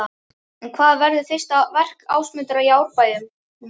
En hvað verður fyrsta verk Ásmundar í Árbænum?